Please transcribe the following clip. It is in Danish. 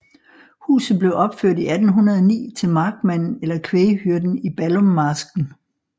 Huset blev opført i 1809 til markmanden eller kvæghyrden i Ballummarsken